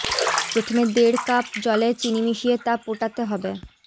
প্রথমে দেড় কাপ জলে চিনি মিশিয়ে তা পোটাতে হবে